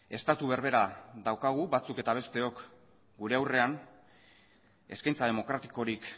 estatu berbera daukagu batzuk eta besteok gure aurrean eskaintza demokratikorik